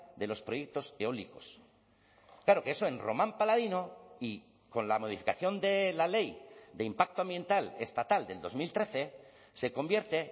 de los proyectos eólicos claro que eso en román paladino y con la modificación de la ley de impacto ambiental estatal del dos mil trece se convierte